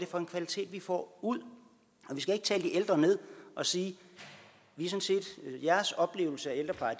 for en kvalitet vi får ud og vi skal ikke tale de ældre ned og sige jeres oplevelse af ældrepleje